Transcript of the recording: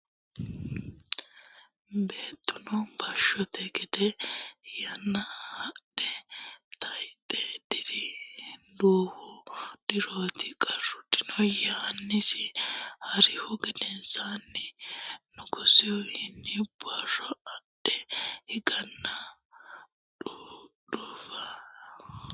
Beettuno bashshoonte gede yeenna Hadhe tayxe diri duuwu dirooti qarru dino yeennasi ha rihu gedensaanni nugusuwiinni baraa adhe higanna dhudhuufu balesi giddonni fule Adhite dayittore uyie yee xa misi.